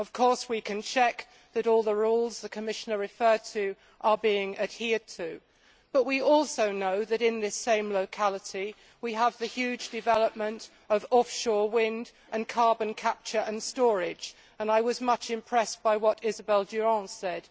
Of course we can check that all the rules the Commissioner referred to are being adhered to, but we also know that in this same locality we have the huge development of offshore wind and carbon capture and storage, and I was much impressed by what Isabelle Durant said.